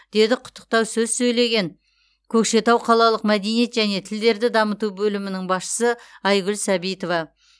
деді құттықтау сөз сөйлеген көкшетау қалалық мәдениет және тілдерді дамыту бөлімінің басшысы айгүл сәбитова